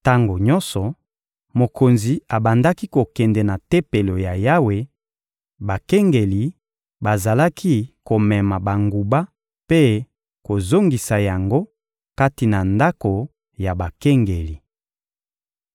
Tango nyonso mokonzi abandaki kokende na Tempelo ya Yawe, bakengeli bazalaki komema banguba mpe kozongisa yango kati na ndako ya bakengeli.